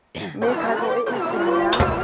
mekgatlho e e seng ya